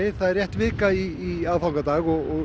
það er rétt vika í aðfangadag og